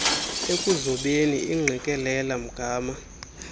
ekuzobeni ingqikelela mgama